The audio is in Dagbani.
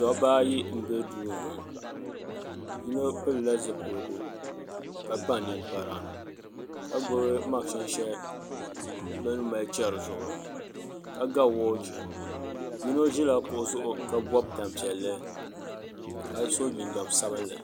Dabba ayi n bɛ duu ni ŋo yino pilila zipiligu ka kpa ninkpara ka gbubi mashin shɛli bi ni mali chɛri zuɣu ka ga woochi yimo ʒila kuɣu zuɣu ka bob tanpiɛlli ka so jinjɛm sabinli